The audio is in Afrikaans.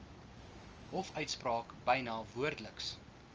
hofuitspraak byna woordeliks